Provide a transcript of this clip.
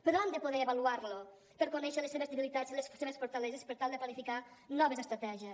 però han de poder avaluar lo per conèixer les seves debilitats i les seves fortaleses per tal de planificar noves estratègies